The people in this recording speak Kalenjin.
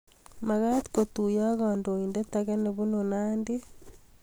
Maktoii kotuyo ak kandoiindet ake nebunu Nandi